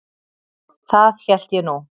Það hélt ég nú.